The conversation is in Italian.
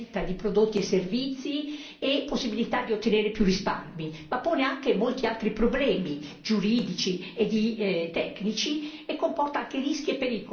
e possibilità di ottenere più risparmi ma pone anche molti altri problemi, giuridici e tecnici, e comporta anche rischi e pericoli per il consumatore sprovveduto.